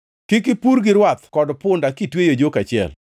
Kik ipur gi rwath kod punda kitweyo e jok achiel.